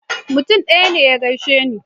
Mutum ɗaya ne ya gaishe ni.